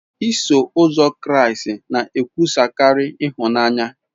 Iso Ụzọ Kraịst na-ekwusakarị ịhụnanya.